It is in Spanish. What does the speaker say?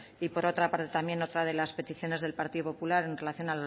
y por otra parte también otra de las peticiones del partido popular en relación